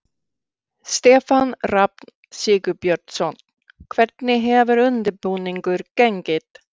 Stefán Rafn Sigurbjörnsson: Hvernig hefur undirbúningur gengið?